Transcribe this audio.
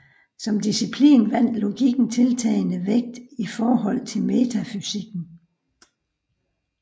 Som disciplin vandt logikken tiltagende vægt i forhold til metafysikken